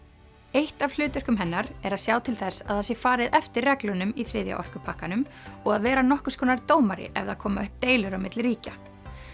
eitt af hlutverkum hennar er að sjá til þess að það sé farið eftir reglunum í þriðja orkupakkanum og að vera nokkurs konar dómari ef það koma upp deilur á milli ríkja